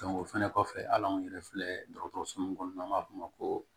o fɛnɛ kɔfɛ hal'anw yɛrɛ filɛ dɔgɔtɔrɔso min n'an b'a f'o ma ko